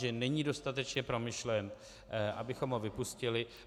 Že není dostatečně promyšlen, abychom ho vypustili.